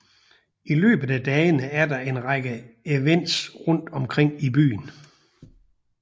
I løbet af dagene er der en række events rundt omkring i byen